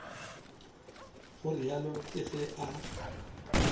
go realo ke ge a